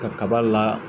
Ka kaba la